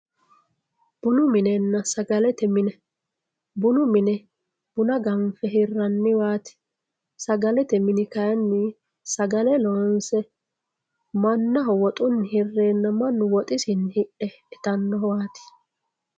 Bunu minena sagalete mine bunu mine buna ganfe hiraniwaat sagalete mini kayini mannaho woxuni hireena mannu woxisini hidhe itanowat .